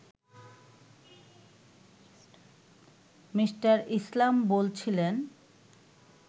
Me. Islam বলছিলেন